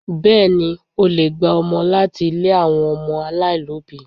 Bẹ́ẹ̀ni, o le gba ọmọ láti ilé àwọn ọmọ aláìlóbìí.